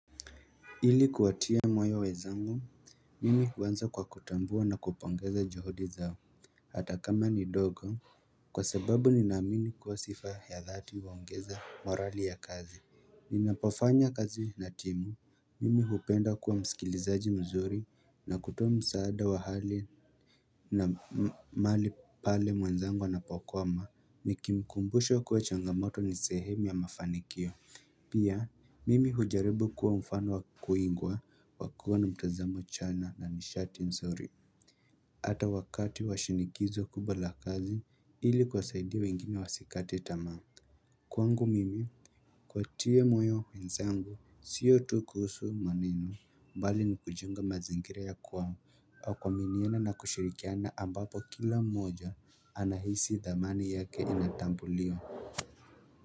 Ili kuwatia moyo wenzangu, mimi huanza kwa kutambua na kupongeza juhudi zao. Hata kama ni ndogo, kwa sababu ninaamini kuwa sifa ya dhati huongeza morali ya kazi Ninapofanya kazi na timu, mimi hupenda kuwa msikilizaji mzuri na kutoa msaada wa hali na mahali pale mwenzangu anapokoma, ni kikumbusho kuwa changamoto ni sehemu ya mafanikio Pia, mimi hujaribu kuwa mfano wa kuigua, wa kuwa na mtazamo chanya na nishati nzuri. Hata wakati wa shinikizo kubwa la kazi, ili kuwasaidia wengine wasikate tamaa. Kwangu mimi, kuwatia moyo wenzangu, sio tu kuhusu maneno, bali ni kujiunga mazingira ya kwao. Kwa kuaminiana na kushirikiana ambapo kila mmoja, anahisi thamani yake inatambuliwa.